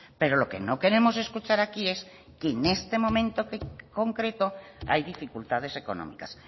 pero lo que no queremos escuchar aquí es que en este momento concreto hay dificultades económicas